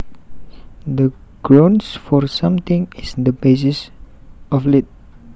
The grounds for something is the basis of it